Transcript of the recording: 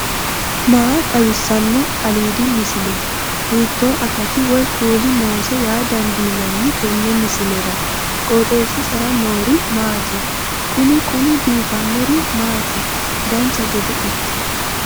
maa xawissanno aliidi misile ? hiitto akati woy kuuli noose yaa dandiinanni tenne misilera? qooxeessisera noori maati? kuni kuni biifannori maati dancha gede ikke